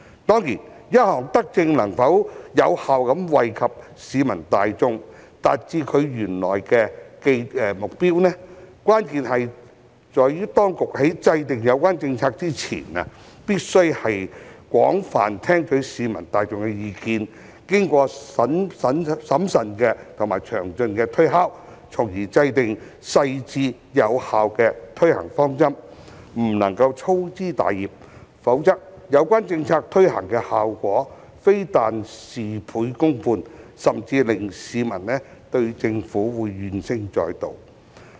當然，一項德政能否有效惠及市民大眾，達致原來的目標，關鍵在於當局在制訂有關政策前，必須廣泛聽取市民大眾的意見，並經過審慎及詳盡的推敲，從而制訂細緻、有效的推行方針，不能粗枝大葉，否則有關政策的效果非但事倍功半，甚至會令市民對政府怨聲載道。